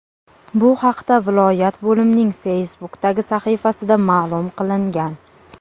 Bu haqda viloyat bo‘limining Facebook’dagi sahifasida ma’lum qilingan .